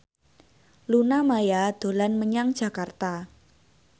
Luna Maya dolan menyang Jakarta